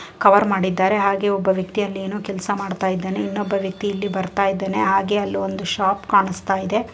Cover ಮಾಡಿದ್ದಾರೆ ಹಾಗೆ ಒಬ್ಬ ವ್ಯಕ್ತಿ ಅಲ್ ಏನೊ ಕೆಲಸ ಮಾಡತಾಯಿದಾನೆ ಇನ್ನೊಬ್ಬ ವ್ಯಕ್ತಿ ಇಲ್ಲಿ ಬರ್ತಾ ಇದಾನೆ ಹಾಗೆ ಅಲ್ಲೊಂದು ಶಾಪ್ ಕಾಣಸ್ತಾಯಿದೆ.